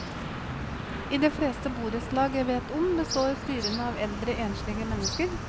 I de fleste borettslag jeg vet om, består styrene av eldre enslige mennesker.